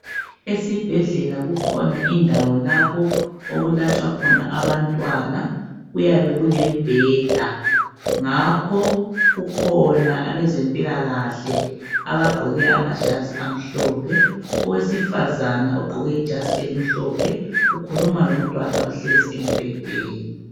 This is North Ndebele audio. Esibhedlela kukhona indawo lapho okulatshwa khona abantwana kuyabe kulembheda ngakho kukhona abezempilakahle abagqoke amajazi amhlophe owesifazana ogqoke ijazi emhlophe ukhuluma lomntwana ohlezi embhedeni.